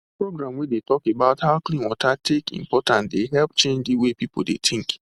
program wey dey talk about how clean water take important dey help change the way people dey think